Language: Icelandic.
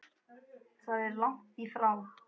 Það er langt í frá.